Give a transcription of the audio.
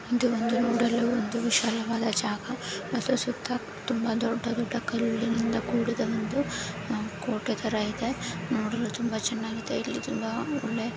ಇದು ಒಂದು ನೋಡಲು ಒಂದು ವಿಶಾಲವಾದ ಜಾಗ ಮತ್ತೆ ಸುತ್ತ ತುಂಬಾ ದೊಡ್ಡ ದೊಡ್ಡ ಕಲ್ಲಿನಿಂದ ಕೂಡಿದ ಒಂದು ಕೋಟೆ ತರ ಇದೆ ನೋಡಲು ತುಂಬಾ ಚೆನ್ನಾಗಿ ಇದೆ ಇಲ್ಲಿ ತುಂಬಾ ಒಳ್ಳೆ --